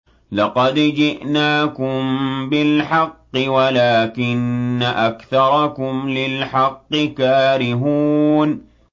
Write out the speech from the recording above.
لَقَدْ جِئْنَاكُم بِالْحَقِّ وَلَٰكِنَّ أَكْثَرَكُمْ لِلْحَقِّ كَارِهُونَ